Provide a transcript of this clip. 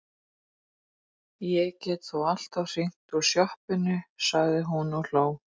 Ég get þó alltaf hringt úr sjoppunni, sagði hún og hló.